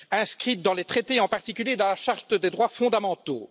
inscrits dans les traités, en particulier dans la charte des droits fondamentaux.